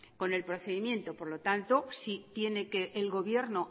con el procedimiento por lo tanto si tiene que el gobierno